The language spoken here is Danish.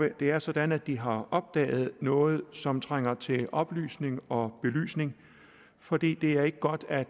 det er sådan at de har opdaget noget som trænger til oplysning og belysning fordi det er ikke godt at